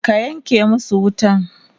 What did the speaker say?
ka Yanke masu wutan!